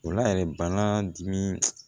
O la yɛrɛ bana dimi